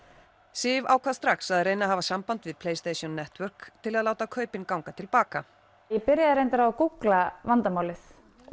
Sif ákvað strax að reyna að hafa samband við Network til að láta kaupin ganga til baka ég byrjaði reyndar á að gúgla vandamálið